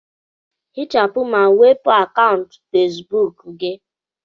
Hichapụ ma wepu akaụntụ Fesibuku gị.